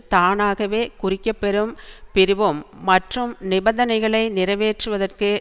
தானாகவே குறிக்கப்பெறும் பிரிவும் மற்றும் நிபந்தனைகளை நிறைவேற்றுவதற்கு